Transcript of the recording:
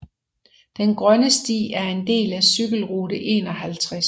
Den Grønne Sti er en del af cykelrute 51